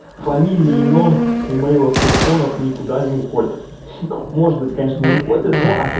фамилии имён емейлов телефонов никуда не уходят может быть конечно и уходят